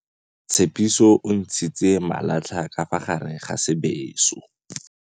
Tshepiso o ntshitse malatlha ka fa gare ga sebêsô.